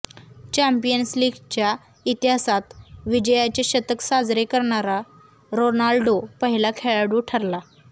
champions लीगच्या इतिहासात विजयाचे शतक साजरे करणारा रोनाल्डो पहिला खेळाडू ठरला